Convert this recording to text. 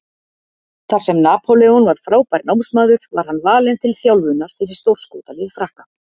Þar sem Napóleon var frábær námsmaður var hann valinn til þjálfunar fyrir stórskotalið Frakka.